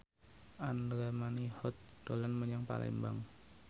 Andra Manihot dolan menyang Palembang